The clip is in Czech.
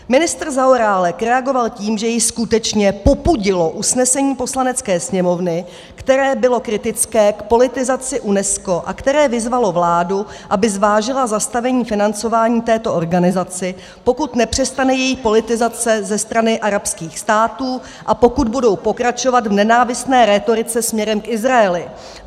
Ministr Zaorálek reagoval tím, že jej skutečně popudilo usnesení Poslanecké sněmovny, které bylo kritické k politizaci UNESCO a které vyzvalo vládu, aby zvážila zastavení financování této organizaci, pokud nepřestane její politizace ze strany arabských států a pokud budou pokračovat v nenávistné rétorice směrem k Izraeli.